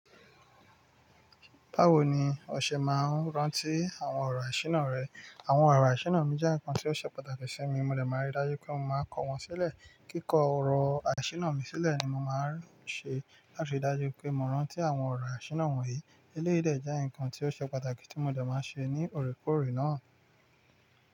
Báwo ni ọ ṣe máa ń rántí àwọn ọ̀rọ̀ iṣírí náà rẹ? Àwọn ọ̀rọ̀ àṣírí mi jẹ́ nǹkan tí ó ṣe pàtàkì sí mi, mo lè máa rí dájú pé mo máa kọ wọ́n sílẹ̀. Kíkọ ọ̀rọ̀ àṣínà mi sílẹ̀ ni mo máa ń ṣe láti rí dájú pé mo rántí àwọn ọ̀rọ̀ àṣínà wọ̀nyí. Eléyií dẹ̀ jẹ́ nǹkan tí ó ṣe pàtàkì tí mo dẹ̀ máa ṣe ní oore kòọ́re náà.